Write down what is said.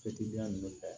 ninnu fɛ